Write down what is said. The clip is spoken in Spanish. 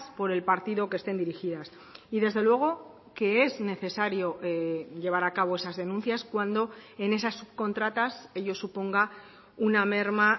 por el partido que estén dirigidas y desde luego que es necesario llevar a cabo esas denuncias cuando en esas subcontratas ello suponga una merma